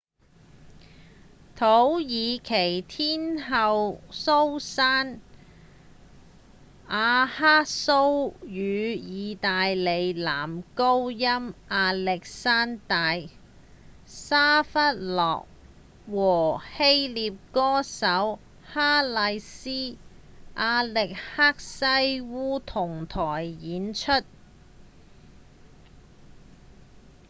土耳其天后蘇珊‧雅克蘇與義大利男高音亞歷山大‧沙費納和希臘歌手哈麗絲‧亞力克西烏同臺演出